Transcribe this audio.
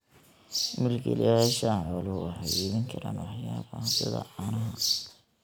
Milkiilayaasha xooluhu waxay iibin karaan waxyaabaha sida caanaha.